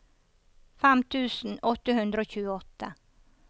fem tusen åtte hundre og tjueåtte